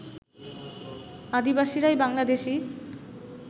আদিবাসীরাই Bangladeshi